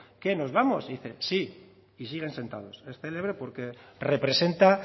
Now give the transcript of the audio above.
qué nos vamos y dice sí y siguen sentados es célebre porque representa